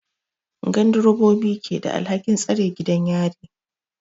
Gandirobobi ke da alhakin tsare gidan yari.